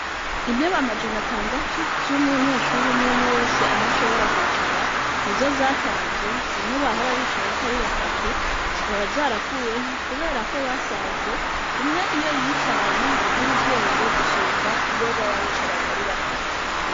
Intebe amajana tandatu z'umunyeshuru umwumwe wese aha shobora kwicara ni zo zatanzwe zimwe bahora bicarako ari batatu zikaba zarakuweho, kubera ko basanze umwe iyo yicaranye ngo agire ubwenge gusumba iyo baba bicaranyi ari batatu.